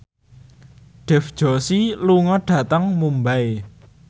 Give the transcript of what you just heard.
Dev Joshi lunga dhateng Mumbai